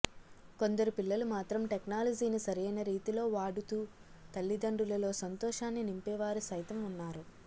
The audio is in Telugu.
కొందరు పిల్లలు మాత్రం టెక్నాలజీని సరైన రీతిలో వాడు తూ తల్లిదండ్రులలో సంతోషాన్ని నింపేవారు సైతం ఉన్నా రు